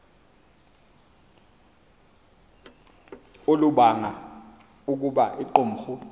olubanga ukuba iqumrhu